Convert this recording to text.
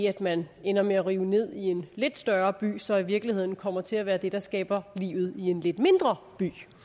at man ender med at rive noget ned i en lidt større by så i virkeligheden kommer til at være det der skaber livet i en lidt mindre